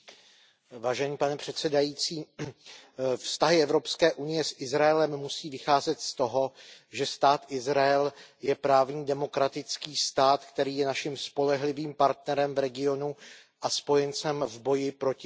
Pane předsedající, vztahy Evropské unie s Izraelem musí vycházet z toho, že Stát Izrael je právní demokratický stát, který je naším spolehlivým partnerem v regionu a spojencem v boji proti terorismu.